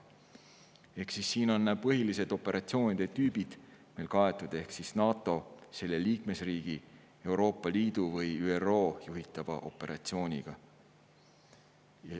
Siin on põhilised operatsioonide tüübid meil kaetud NATO, selle liikmesriigi, Euroopa Liidu või ÜRO juhitava operatsiooniga.